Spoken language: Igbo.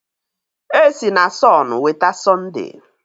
E si na sọn weta Sọnde